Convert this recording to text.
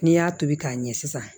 N'i y'a tobi k'a ɲɛ sisan